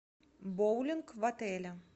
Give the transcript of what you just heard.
боулинг в отеле